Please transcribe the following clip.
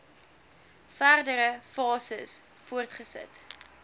verdere fases voortgesit